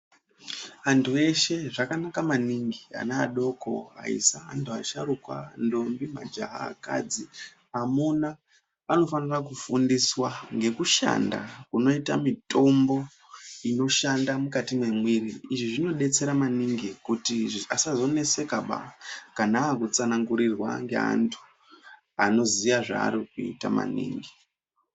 Antu eshe zvakanaka maningi anaadoko, aisa, antu vasharukwa, ndombi majaha, ndombi, akadzi, amuna anofanirwa kufundiswa ngemitombo inoshande mumumwiri. Izvi zvinodetsera kuti vasazonesekaba kana vaakutsanangurirwa nevanhu vanoziya zvavanoita.